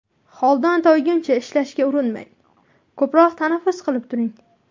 Holdan toyguncha ishlashga urinmang , ko‘proq tanaffus qilib turing .